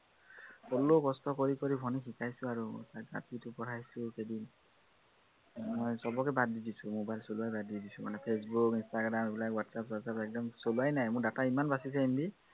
হলেওঁ কষ্ট কৰি কৰি ভন্টীক শিকাইছো আৰু তাইক যি পঢ়াইছো সেইকেইদিন। উম মই সৱকে বাদ দি দিছো, mobile চলোৱাই বাদ দিছো মানে, ফেচবুক ইন্সট্ৰাগ্ৰাম এইবিলাক ৱাটটএপ, চোৱাটচআপ একদম চলোৱাই নাই, মোৰ data ইমান বাছিচে MB